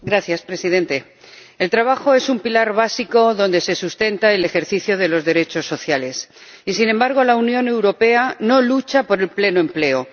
Señor Presidente, el trabajo es un pilar básico en el que se sustenta el ejercicio de los derechos sociales y, sin embargo, la Unión Europea no lucha por el pleno empleo.